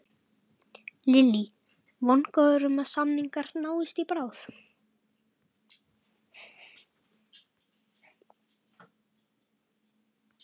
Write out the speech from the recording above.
Lillý: Vongóður um að samningar náist í bráð?